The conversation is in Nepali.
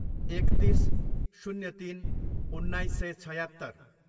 एकतिस, शून्य तिन, उन्नाइस सय छयात्तर